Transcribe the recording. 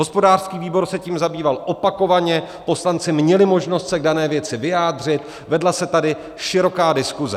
Hospodářský výbor se tím zabýval opakovaně, poslanci měli možnost se k dané věci vyjádřit, vedla se tady široká diskuse.